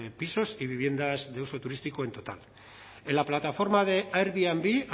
pisos y viviendas de uso turístico en total en la plataforma de airbnb